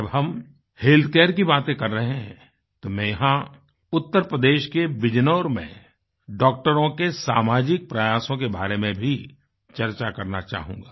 जब हम health care की बातें कर रहे हैं तो मैं यहाँ उत्तर प्रदेश के बिजनौर में डॉक्टरों के सामाजिक प्रयासों के बारे में भी चर्चा करना चाहूँगा